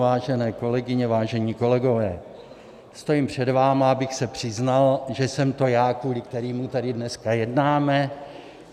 Vážené kolegyně, vážení kolegové, stojím před vámi, abych se přiznal, že jsem to já, kvůli kterému tady dneska jednáme.